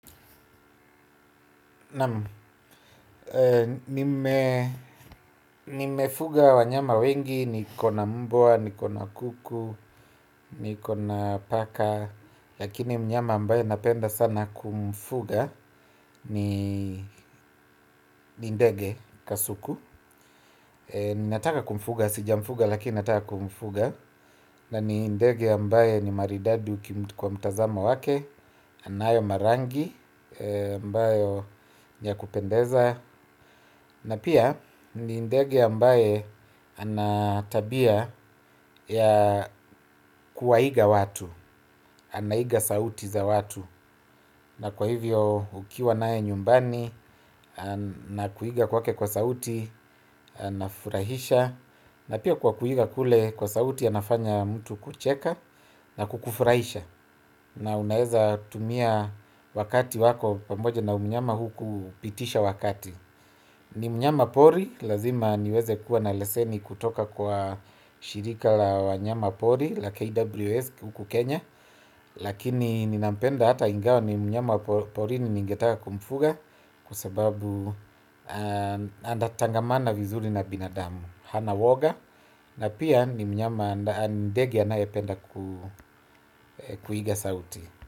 Naam, nimefuga wanyama wengi, niko na mbwa, niko na kuku, niko na paka lakini mnyama ambaye napenda sana kumfuga ni ni ndege kasuku. Ninataka kumfuga, sijamfuga lakini nataka kumfuga. Na ni ndege ambaye ni maridadi kwa mtazamo wake. Anayo marangi, ambayo ni ya kupendeza. Na pia ni ndege ambaye anatabia ya kuwaiga watu. Anaiga sauti za watu. Na kwa hivyo ukiwa naye nyumbani anakuiga kwake kwa sauti. Anafurahisha. Na pia kwa kuiga kule kwa sauti anafanya mtu kucheka na kukufurahisha. Na unaweza tumia wakati wako. Pamoja na mnyama huu kupitisha wakati. Ni mnyama pori, lazima niweze kuwa na leseni kutoka kwa shirika la wanyama pori la KWS huku Kenya. Lakini ninapenda hata ingawa ni mnyama wa porini ningetaka kumfuga. Kwa sababu anatangamana vizuri na binadamu, hana uoga. Na pia ni mnyama ndege anayependa kuiga sauti.